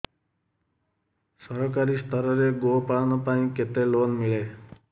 ସରକାରୀ ସ୍ତରରେ ଗୋ ପାଳନ ପାଇଁ କେତେ ଲୋନ୍ ମିଳେ